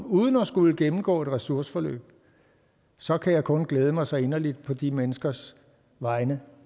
uden at skulle gennemgå ressourceforløb så kan jeg kun glæde mig så inderligt på de menneskers vegne